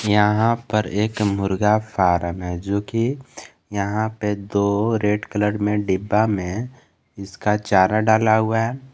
यहां पर एक मुर्गा फार्म है जो कि यहां पे दो रेड कलर में डिब्बा में इसका चारा डाला हुआ है।